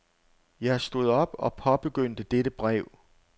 Jeg stod op og påbegyndte dette brev.